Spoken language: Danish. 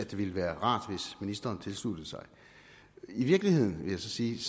ville være rart at ministeren tilsluttede sig i virkeligheden vil jeg så sige